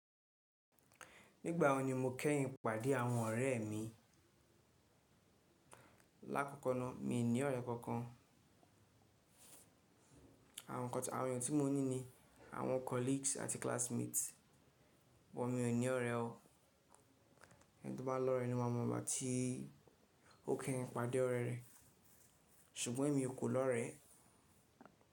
Nígbà wo ni mo kẹ́yìn pàdé àwọn ọ̀rẹ́ mi? Láàkókò náà mi ò ní ọ̀rẹ́ kankan. Àwọn ènìyàn tí mo ní ni àwọn colleagues àti classmates wọ̀n mi ò ní ọ̀rẹ́ o. Ẹni tó bá lọ́rẹ́ ẹ ni ó máa mọ̀ ìgbá ti ó kẹ́yìn pàdé ọ̀rẹ́ rẹ̀. Ṣùgbọ́n èmi ò kó lọ́rẹ́.